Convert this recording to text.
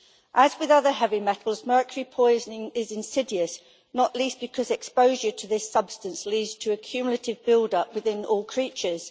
As with other heavy metals, mercury poisoning is insidious, not least because exposure to this substance leads to a cumulative build up within all creatures.